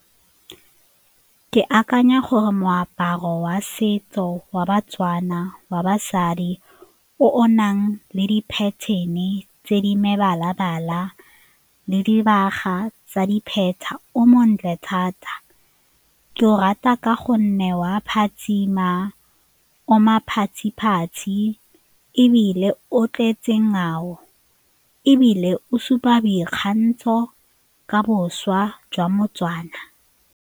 Ke akanya gore moaparo wa setso wa ba-Tswana wa basadi o o nang le di-pattern-e tse di mebala-bala le dibaga tsa dipheta o montle thata. Ke o rata ka gonne wa phatsima ebile o tletse ngwao ebile o supa boikgantsho ka bošwa jwa mo-Tswana.